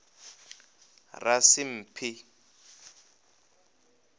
rasimphi